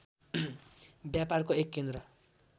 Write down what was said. व्यापारको एक केन्द्र